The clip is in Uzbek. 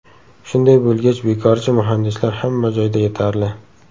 Shunday bo‘lgach bekorchi muhandislar hamma joyda yetarli.